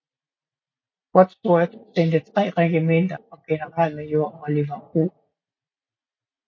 Wadsworth sendte tre regimenter og generalmajor Oliver O